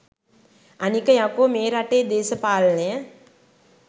අනික යකෝ මේ රටේ දේශපාලනය